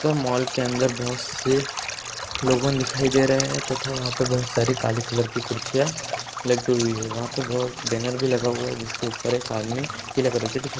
तो मॉल के अंदर बहोत से लोगों दिखाई दे रहे हैं तथा वहां पर बहोत सारी काले कलर की कुडसियां लगी हुई है वहाँ पर बहो बेनर भी लगा हुआ है जिसके ऊपर एक आदमी पिले कलर की टीशर्ट --